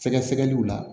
Sɛgɛsɛgɛliw la